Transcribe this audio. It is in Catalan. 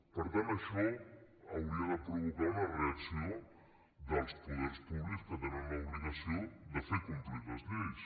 per tant això hauria de provocar una reacció dels poders públics que tenen l’obligació de fer complir les lleis